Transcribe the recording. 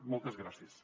moltes gràcies